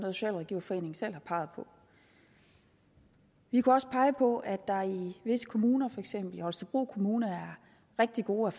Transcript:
socialrådgiverforeningen selv har peget på vi kunne også pege på at der i visse kommuner som for eksempel i holstebro kommune er rigtig gode